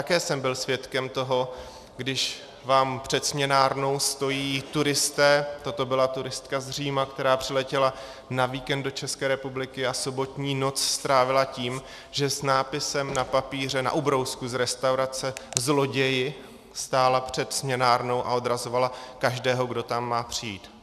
Také jsem byl svědkem toho, když vám před směnárnou stojí turisté, toto byla turistka z Říma, která přiletěla na víkend do České republiky a sobotní noc strávila tím, že s nápisem na papíře, na ubrousku z restaurace "zloději" stála před směnárnou a odrazovala každého, kdo tam má přijít.